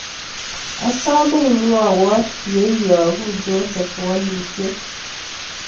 Asome imwowon ye iyogu Joseph walutiet